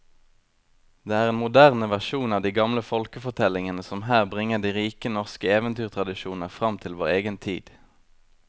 Det er en moderne versjon av de gamle folkefortellingene som her bringer de rike norske eventyrtradisjoner fram til vår egen tid.